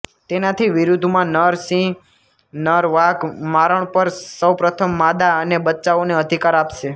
તેનાથી વિરુદ્ધમાં નર સિંહ નર વાઘ મારણ પર સૌપ્રથમ માદા અને બચ્ચાઓને અધિકાર આપશે